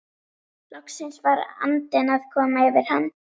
Loksins var andinn að koma yfir hann!